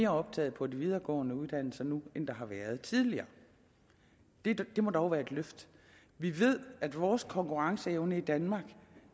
optag på de videregående uddannelser nu end der har været tidligere det det må dog være et løft vi ved at vores konkurrenceevne i danmark